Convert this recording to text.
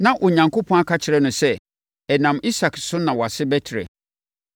Na Onyankopɔn aka akyerɛ no sɛ, “Ɛnam Isak so na wʼase bɛtrɛ.”